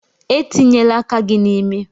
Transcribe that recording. Etinyela aka gị n'imi!